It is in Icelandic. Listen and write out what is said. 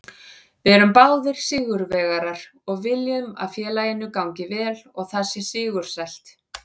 Við erum báðir sigurvegarar og viljum að félaginu gangi vel og það sé sigursælt.